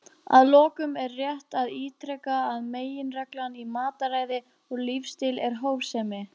Að lokum er rétt að ítreka að meginreglan í mataræði og lífsstíl er hófsemi.